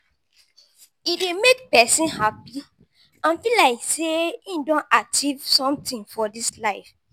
e dey make persin happy and feel like say e don achieve something for this life